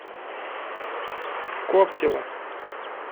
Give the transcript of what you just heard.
коптева